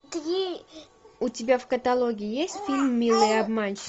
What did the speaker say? у тебя в каталоге есть фильм милые